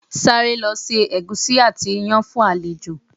Sáré lọ se ẹ̀gúsí àti iyán fún àlejò!